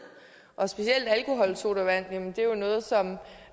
og specielt alkoholsodavand